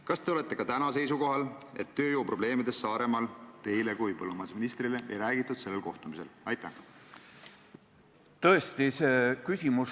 Kas te olete ka täna seisukohal, et tööjõuprobleemidest Saaremaal teile kui põllumajandusministrile sellel kohtumisel ei räägitud?